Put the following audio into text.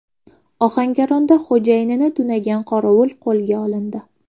Ohangaronda xo‘jayinini tunagan qorovul qo‘lga olindi.